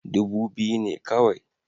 Dubu biyu ne kawai